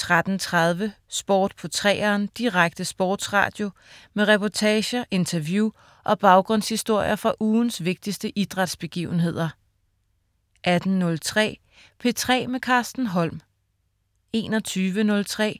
13.30 Sport på 3'eren Direkte sportsradio med reportager, interview og baggrundshistorier fra ugens vigtigste idrætsbegivenheder 18.03 P3 med Carsten Holm 21.03